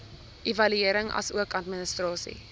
evaluering asook administrasie